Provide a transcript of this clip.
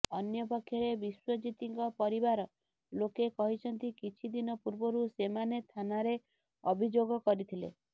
ଅନ୍ୟପକ୍ଷରେ ବିଶ୍ୱଜିତଙ୍କ ପରିବାର ଲୋକେ କହିଛନ୍ତି କିଛି ଦିନ ପୂର୍ବରୁ ସେମାନେ ଥାନାରେ ଅଭିଯୋଗ କରିଥିଲେ